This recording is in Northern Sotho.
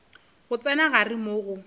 go tsena gare moo go